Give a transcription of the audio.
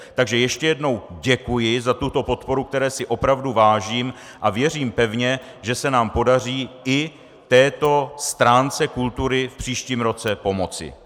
Takže ještě jednou děkuji za tuto podporu, které si opravdu vážím, a věřím pevně, že se nám podaří i této stránce kultury v příštím roce pomoci.